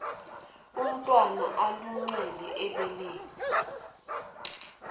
umntwana aluncele ebeleni